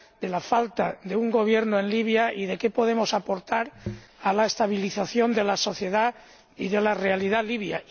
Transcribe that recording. la falta de un gobierno en Libia y qué podemos aportar a la estabilización de la sociedad y de la realidad libia.